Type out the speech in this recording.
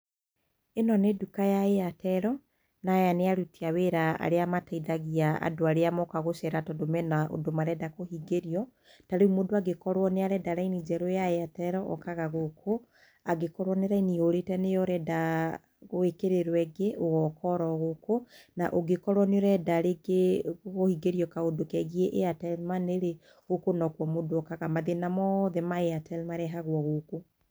ĩno nĩ nduka ya Airtel, na aya nĩ aruti a wĩra arĩa mateithagia andũ arĩa moka gũcera tondũ mena ũndũ marenda kũhingĩrrio. Ta rĩu mũndũ angĩkorwo nĩ arenda raini njerũ ya Airtel, okaga gũkũ, angĩkorwo nĩ raini yũrĩte, nĩ yo ũrenda gwĩkĩrĩrwo ĩngĩ, ũgoka o ro gũkũ, na ũngĩkorwo nĩ ũrenda rĩngĩ kũhingĩrio kaũndu kegiĩ Airtel Money rĩ, gũkũ no kuo mũndũ okaga, mathĩna mothe ma Airtel marehagwo gũkũ.